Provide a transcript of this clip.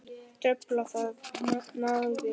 Truflar þetta nábýli?